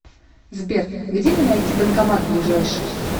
сбер где мне найти банкомат ближайший